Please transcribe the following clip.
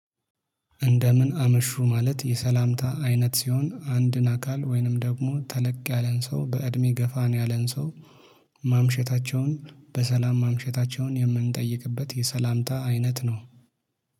እንደምን አመሹ ማለት የሰላምታ አይነት ሲሆን አንድን አካል ወይንም ደግሞ ተለቅ ያለን ሰው በእድሜ ገፋን ያለን ሰው ማምሸታቸውን በሰላም ማምሸታቸውን የምንጠይቅበት የሰላምታ አይነት ነው።